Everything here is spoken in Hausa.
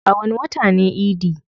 A wani wata ne idi?